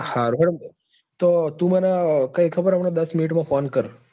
સારું હેડો તો એટલે તું મને ખબર હે હમણાં દસ minute માં phone કર.